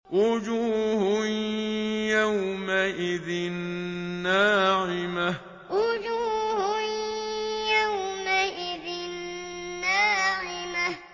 وُجُوهٌ يَوْمَئِذٍ نَّاعِمَةٌ وُجُوهٌ يَوْمَئِذٍ نَّاعِمَةٌ